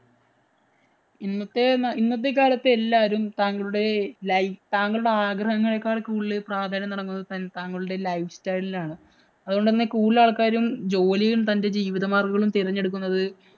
ഇന്നത്തെ, ഇന്നത്തെ കാലത്ത് താങ്കളുടെ ലൈ താങ്കളുടെ ആഗ്രഹങ്ങളേക്കാള്‍ കൂടുതല്‍ പ്രാധാന്യം നല്‍കുന്നത് താങ്കളുടെ life style നാണ്. അതുകൊണ്ട് കൂടുതല്‍ ആള്‍ക്കാരും ജോലിയും, തന്‍റെ ജീവിത മാര്‍ഗങ്ങളും തെരെഞ്ഞെടുക്കുന്നത്